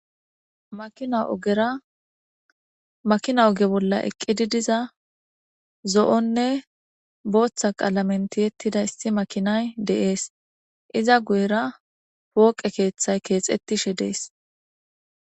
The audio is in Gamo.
makina ogeramakina oge bolla eqqididiza zo7onne booththa qaalamenti yettida issi makinay de7ees iza guyera pooqe keeththay keexettishe dees